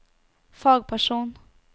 fagperson